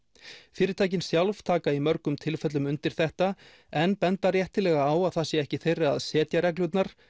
fyrirtækin sjálf taka í mörgum tilfellum undir þetta en benda réttilega á að það sé ekki þeirra að setja reglurnar